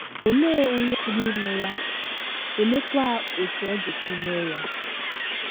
Olee onye pụrụ ime ya, oleekwa otú ọ ga - esi mee ya?